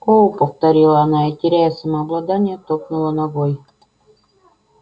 о повторила она и теряя самообладание топнула ногой